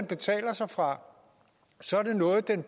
betaler sig fra så er det noget den